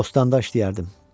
Bostanda işləyərdim.